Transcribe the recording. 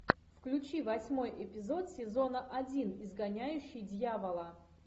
включи восьмой эпизод сезона один изгоняющий дьявола